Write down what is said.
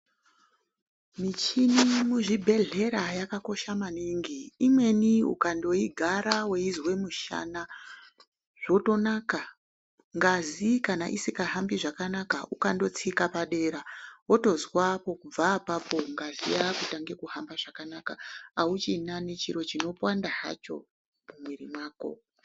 Michini muzvibhedhlera yakakosha maningi imweni ukandoigara weizwe mushana zvotonaka, ngazi kana isingahambi zvakanaka ukandotsika padera wotozwa kubva apapo ngazi yakutange kuhamba zvakanaka auchina nechiro chinopanda hacho mumwiro mako.